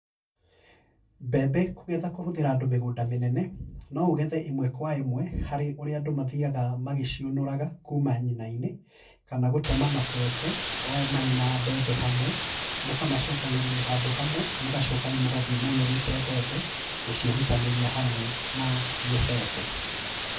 Mbembe kũgetha kũhũthĩra andũ mĩgũnda mĩnene, noũgethe ĩmwe kwa ĩmwe harĩ ũrĩa andũ mathiaga magĩciũnũraga kuma nyina-inĩ kana gũtema mabebe o marĩ na mbembe hamwe, mũkamacokanĩrĩria handũ hamwe mũgacoka rĩu mũgathiĩ mũnũrĩte mbembe, gũciehutanĩria hamwe na mĩbebe.